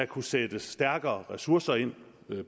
kunne sættes stærkere ressourcer ind